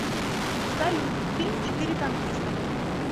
салют фильм четыре танккиста